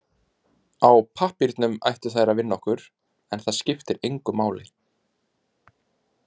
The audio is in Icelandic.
Á pappírnum ættu þær að vinna okkur, en það skiptir engu máli.